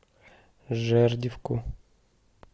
жердевку